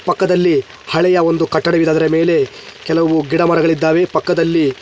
ಪಕ್ಕದಲ್ಲಿ ಹಳೆಯ ಒಂದು ಕಟ್ಟಡವಿದೆ ಅದರ ಮೇಲೆ ಕೆಲವು ಗಿಡ ಮರಗಳಿದ್ದಾವೆ ಪಕ್ಕದಲ್ಲಿ --